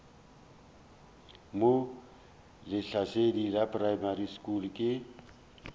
mo lehlasedi primary school ke